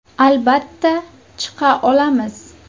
Albatta chiqa olamiz.